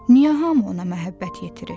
Niyə hamı ona məhəbbət yetirir?